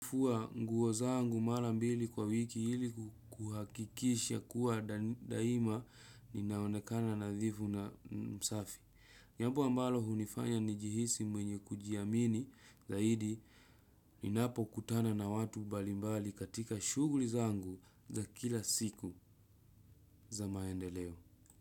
Kufua nguo zangu mara mbili kwa wiki hili kuhakikisha kuwa daima ninaonekana nadhifu na msafi. Jambo ambalo hunifanya nijihisi mwenye kujiamini, zaidi ninapo kutana na watu mbalimbali katika shugli zangu za kila siku za maendeleo.